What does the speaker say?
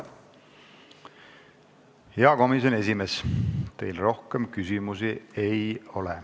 Hea komisjoni esimees, teile rohkem küsimusi ei ole.